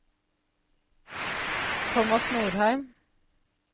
Thomas Norheim